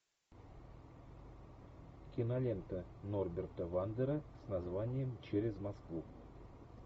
кинолента норберта вандера с названием через москву